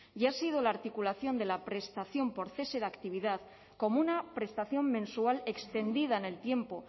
y ha sido la articulación de la prestación por cese de actividad como una prestación mensual extendida en el tiempo